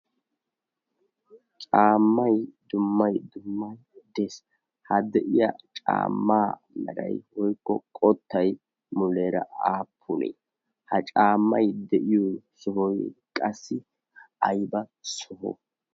caammai dummai dummay dees. ha de'iya caammaa maray woykko qottay muleera aapune ha caammay de'iyo sohoy qassi ayiba soho?